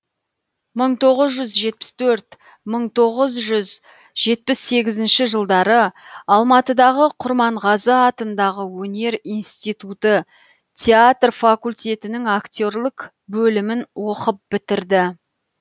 мың тоғыз жүз жетпіс төрт мың тоғыз жүз жетпіс сегізінші жылдары алматыдағы құрманғазы атындағы өнер институты театр факультетінің актерлік бөлімін оқып бітірді